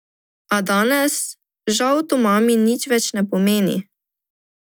A danes žal to mami nič več ne pomeni.